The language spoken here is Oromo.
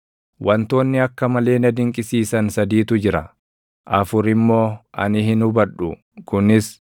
“Wantoonni akka malee na dinqisiisan sadiitu jira; afur immoo ani hin hubadhu; kunis: